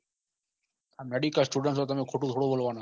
medicalstudent તમે ખોટું થોડી બોલવાના